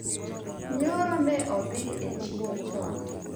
nyoro ne odhi e chiro chon